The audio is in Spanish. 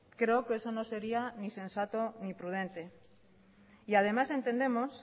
creo que eso no sería ni sensato ni prudente y además entendemos